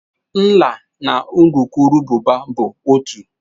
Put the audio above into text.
Nla na urukurubụba bụ otu.